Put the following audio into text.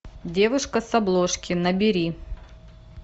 девушка с обложки набери